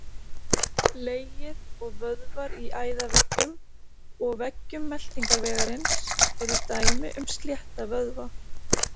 Legið og vöðvar í æðaveggjum og veggjum meltingarvegarins eru dæmi um slétta vöðva.